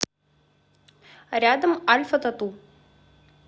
рядом альфатату